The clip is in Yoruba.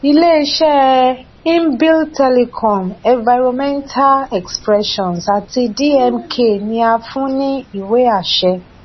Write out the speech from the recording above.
iléiṣẹ imbil telecom environmental expressions àti dmk ni a fún ní ìwé àṣẹ